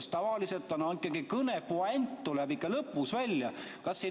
Sest tavaliselt ikkagi tuleb kõne puänt lõpus välja.